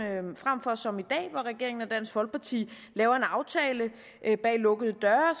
frem for som i dag hvor regeringen og dansk folkeparti laver en aftale bag lukkede døre